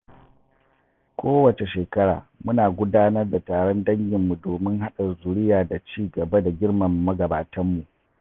Kowace shekara, muna gudanar da taron danginmu domin haɗa zuriya da ci gaba da girmama magabatanmu.